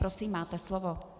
Prosím, máte slovo.